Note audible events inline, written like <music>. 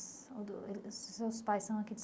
São do eh <unintelligible> seus pais são aqui de